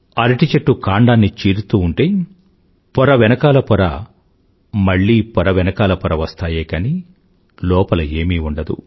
అరటిచెట్టుకాండాన్నిచీరుతూఉంటే పొరవెనకాలపొర మళ్ళీపొర వెనకాల పొర వస్తాయే కానీ లోపల ఏమీ ఉండదు